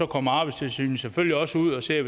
kommer arbejdstilsynet selvfølgelig også ud og ser